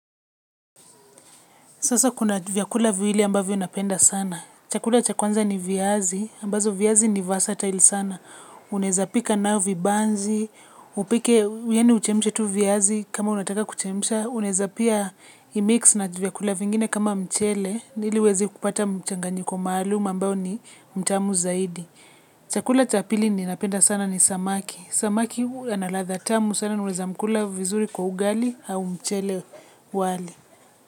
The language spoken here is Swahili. Sasa kuna vyakula viwili ambavyo napenda sana. Chakula cha kwanza ni viazi, ambazo viazi nivyosatail sana. Unaweza pika nayo vibanzi, upike yaani uchemshe tu viazi kama unataka kuchemsha. Unaweza pia imix na vyakula vingine kama mchele. Ili uweze kupata mchanganyiko maluum ambao ni mtamu zaidi. Chakula cha pili ninapenda sana ni samaki. Samaki analadha tamu sana naunaweza mkula vizuri kwa ugali au mchele wali.